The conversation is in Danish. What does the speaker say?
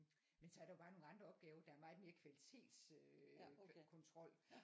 Men så er der jo bare nogle andre opgaver der er meget mere kvalitets øh kontrol